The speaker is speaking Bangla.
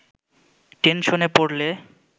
টেনশনে পড়লে